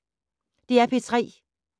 DR P3